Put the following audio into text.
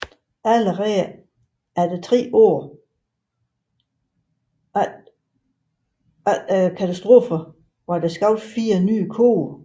Allerede 3 år efter katastrofen var der skabt 4 nye koge